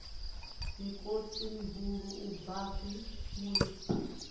mikosi mihulu u bvafhi mulisa